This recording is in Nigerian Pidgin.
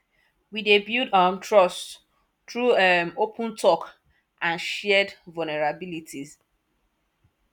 we dey build um trust through um open talk and shared vulnerabilities